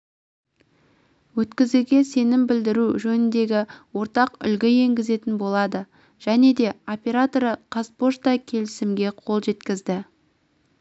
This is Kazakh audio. өткізуге сенім білдіру жөніндегі ортақ үлгі енгізетін болады және де операторы қазпошта келісімге қол жеткізді